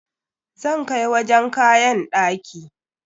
Zan kai wajen kayan ɗaki.